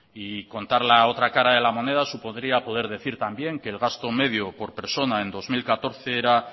y contar la otra de moneda supondría poder decir también que el gasto medio por persona en dos mil catorce era